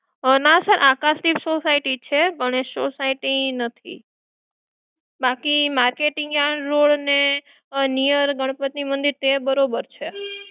ના sir Akashtirth society છે Ganesh society નથી. બાકી marketing yard road અને near ગણપતિ મંદિર તે બરોબર છે